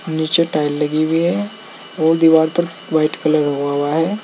नीचे टाइल लगी हुई है और दीवार पर वाइट कलर हुआ हुआ है।